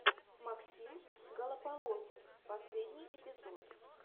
максим голополосов последний эпизод